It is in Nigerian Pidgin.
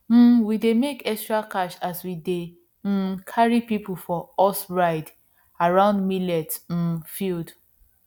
um we dey make extra cash as we dey um carry people for horse ride around millet um field